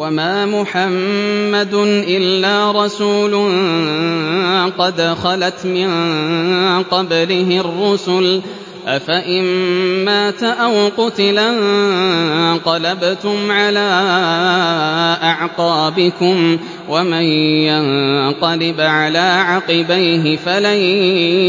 وَمَا مُحَمَّدٌ إِلَّا رَسُولٌ قَدْ خَلَتْ مِن قَبْلِهِ الرُّسُلُ ۚ أَفَإِن مَّاتَ أَوْ قُتِلَ انقَلَبْتُمْ عَلَىٰ أَعْقَابِكُمْ ۚ وَمَن يَنقَلِبْ عَلَىٰ عَقِبَيْهِ فَلَن